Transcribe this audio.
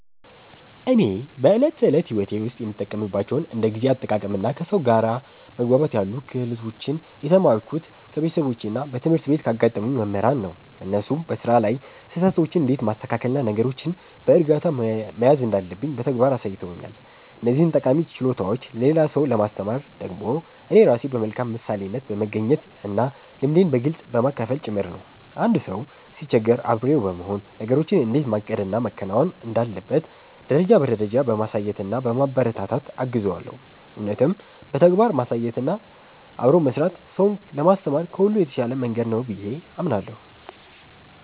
እኔ በዕለት ተዕለት ሕይወቴ ውስጥ የምጠቀምባቸውን እንደ ጊዜ አጠቃቀምና ከሰው ጋር መግባባት ያሉ ክህሎቶችን የተማርኩት ከቤተሰቦቼና በትምህርት ቤት ካጋጠሙኝ መምህራን ነው። እነሱ በሥራ ላይ ስህተቶችን እንዴት ማስተካከልና ነገሮችን በዕርጋታ መያዝ እንዳለብኝ በተግባር አሳይተውኛል። እነዚህን ጠቃሚ ችሎታዎች ለሌላ ሰው ለማስተማር ደግሞ እኔ ራሴ በመልካም ምሳሌነት በመገኘትና ልምዴን በግልጽ በማካፈል ጭምር ነው። አንድ ሰው ሲቸገር አብሬው በመሆን፣ ነገሮችን እንዴት ማቀድና ማከናወን እንዳለበት ደረጃ በደረጃ በማሳየትና በማበረታታት እገዘዋለሁ። እውነትም በተግባር ማሳየትና አብሮ መሥራት ሰውን ለማስተማር ከሁሉ የተሻለ መንገድ ነው ብዬ አምናለሁ።